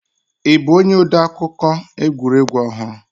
Ị bụ onye odeakụkọ egwuregwu ọhụrụ?